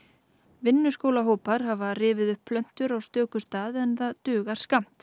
vinnuskólahópar hafa rifið upp plöntur á stöku stað en það dugar skammt